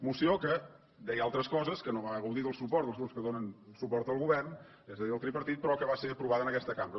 moció que deia altres coses no va gaudir del suport dels grups que donen suport al govern és a dir del tripartit pe rò que va ser aprovada en aquesta cambra